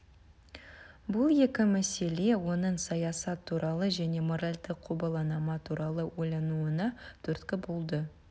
бұл екі мәселе оның саясат туралы және моральдық құбыланама туралы ойлануына түрткі болды